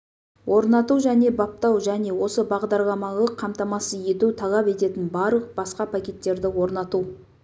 орнату және баптау және осы бағдарламалық қамтамасыз ету талап ететін барлық басқа пакеттерді орнату